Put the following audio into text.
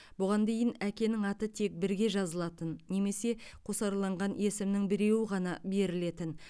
бұған дейін әкенің аты тек бірге жазылатын немесе қосарланған есімнің біреуі ғана берілетін